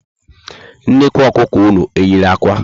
Nnekwu Ọkụkọ ụnụ eyiri ákwà?